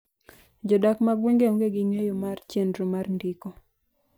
jodak mag gwenge onge gi ng'enyo mar chenro mar ndiko